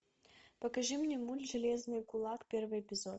покажи мне мульт железный кулак первый эпизод